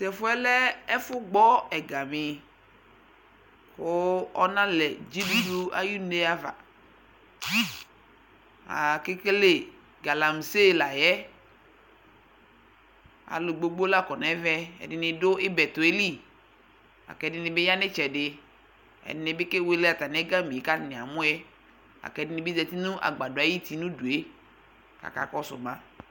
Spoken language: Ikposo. Tʋ ɛfʋ yɛ lɛ ɛfʋgbɔ ɛgami kʋ ɔnalɛ dzidudu ayʋne ava Akekele galamse la yɛ Alʋ gbogbo la kɔ nʋ ɛvɛ, ɛdini dʋ ibɛtɔ yɛ li, la kʋ ɛdini bi ya nʋ itsɛdi Ɛdini bi kewele ɛgami e kʋ atani amʋ yɛ, la kʋ ɛdini bi zati nʋ agbadɔ ayuti nʋ udu e kʋ akakɔsʋ ma